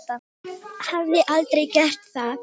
Hafði aldrei gert það.